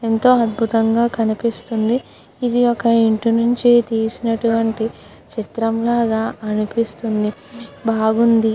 ఎంతో అధ్బుతంగా కనిపిస్తుంది ఇది ఒక ఇంటి నుంచి తీసినటువంటి చిత్రం లాగా అనిపిస్తుంది బాగుంది.